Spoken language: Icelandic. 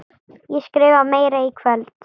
Ég skrifa meira í kvöld.